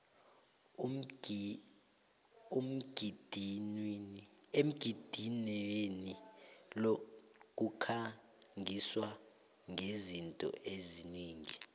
emgidinweni lo kukhangiswa ngezinto eziningi